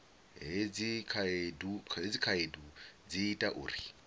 hedzi khaedu dzi ita uri